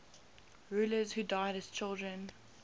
rulers who died as children